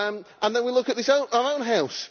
And then we look at our own House.